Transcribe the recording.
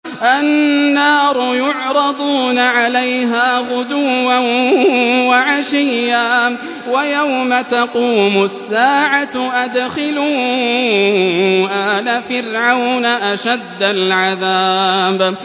النَّارُ يُعْرَضُونَ عَلَيْهَا غُدُوًّا وَعَشِيًّا ۖ وَيَوْمَ تَقُومُ السَّاعَةُ أَدْخِلُوا آلَ فِرْعَوْنَ أَشَدَّ الْعَذَابِ